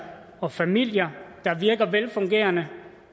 og familier der virker velfungerende